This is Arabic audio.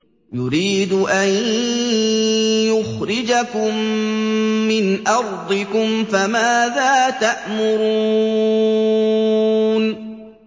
يُرِيدُ أَن يُخْرِجَكُم مِّنْ أَرْضِكُمْ ۖ فَمَاذَا تَأْمُرُونَ